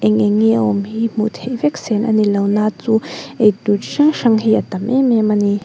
eng eng nge awm hi hmuh theih vek sen a ni lo na chu ei tur hrang hrang hi a tam em em a ni.